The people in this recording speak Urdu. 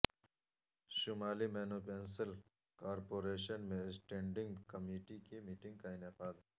شمالی میونسپل کارپوریشن میں اسٹینڈنگ کمیٹی کی میٹنگ کا انعقاد